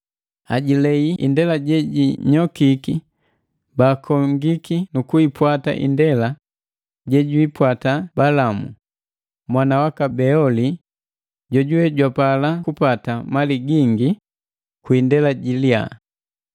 Ajilei indela je jinyokiki, baakongiki nu kuipwata ndela jejwiipwata Balamu, mwana waka Beoli jojuwe jwapala kupata mali gingi kwi indela ji liya,